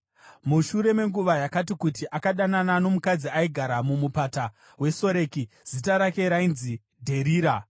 Mushure menguva yakati kuti, akadanana nomukadzi aigara muMupata weSoreki; zita rake rainzi Dherira.